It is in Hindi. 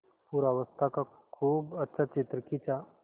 पूर्वावस्था का खूब अच्छा चित्र खींचा